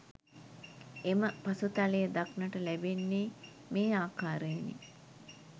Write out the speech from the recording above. එම පසුතලය දක්නට ලැබෙන්නේ මේ ආකාරයෙනි.